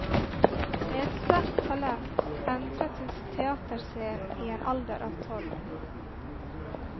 Med et sterkt talent entret hun teaterscenen i en alder av tolv.